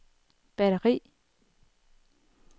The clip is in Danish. batteri